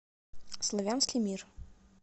славянский мир